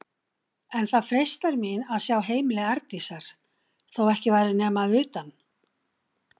En það freistar mín að sjá heimili Arndísar, þó ekki væri nema að utan.